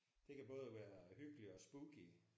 Det kan både være hyggeligt og spooky